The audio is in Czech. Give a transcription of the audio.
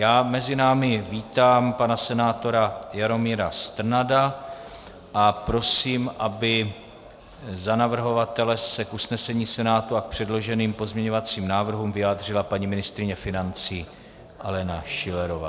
Já mezi námi vítám pana senátora Jaromíra Strnada a prosím, aby za navrhovatele se k usnesení Senátu a k předloženým pozměňovacím návrhům vyjádřila paní ministryně financí Alena Schillerová.